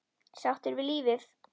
Sáttur við lífið.